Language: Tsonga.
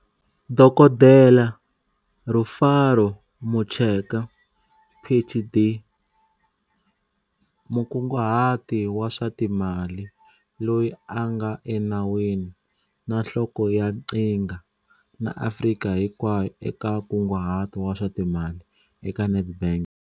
Dokodela Rufaro Mucheka, PhD, Mukunguhati wa swa Timali Loyi a nga Enawini na Nhloko ya Qhinga na Afrika Hinkwayo eka Nkunguhato wa swa Timali eka Nedbank.